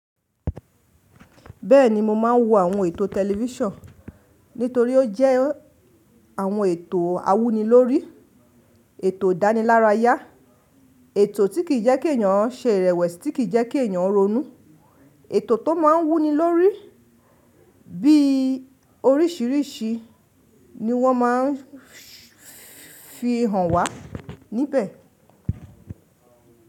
Bẹ́ẹ̀ni mo máa ń wo àwọn ètò tẹlifísàn nítorí ó jẹ́ àwọn ètò awúni lórí, ètò ìdánilárayá, ètò tí kì í jẹ́kí èèyàn ṣe ìrẹ̀wẹ̀sì tí kì í jẹ́kí èèyàn ronú, ètò tó máa ń wú ni lórí bí oríṣìíríṣìí ni wọ́n máa ń fi hàn wá níbẹ̀.